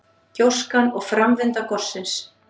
Gjóskan og framvinda gossins.